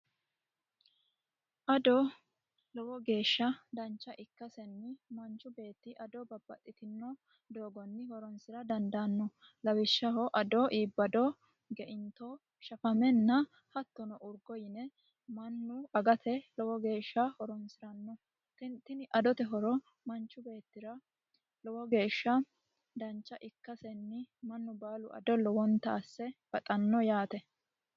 Ado lowo geesha danicha ikkasenni manichu beetti ado babbaxitinno doogonni horonisira dandaano lawishshaho ado iibbado geinitto shafamenna hattono uriggo yine mannu agate lowo geesha horonisiranno tini adote hiro manichu beettira lowo geesha danicha ikkasenni mannu baalu ado lowonitta asse baxano yaate